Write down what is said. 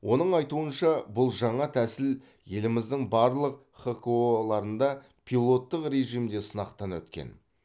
оның айтуынша бұл жаңа тәсіл еліміздің барлық хқо ларында пилоттық режимде сынақтан өткен